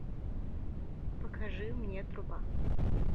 покажи мне труба